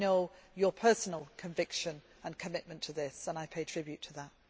I know his personal conviction and commitment to this, and I pay tribute to that.